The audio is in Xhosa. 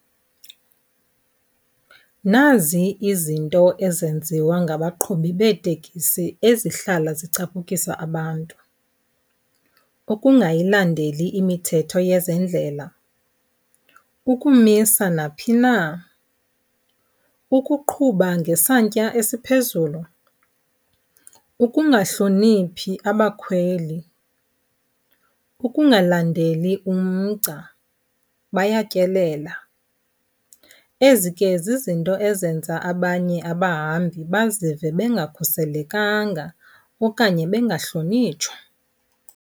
Nazi izinto ezenziwa ngabaqhubi beetekisi ezihlala zicaphukisa abantu. Ukungayilandeli imithetho yezendlela, ukumisa naphi na, ukuqhuba ngesantya esiphezulu, ukungahloniphi abakhweli, ukungalandeli umgca, bayatyelela. Ezi ke zizinto ezenza abanye abahambi bazive bengakhuselekanga okanye bengahlonitshwa.